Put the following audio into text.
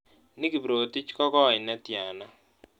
Nick kiprotich kogoi netiana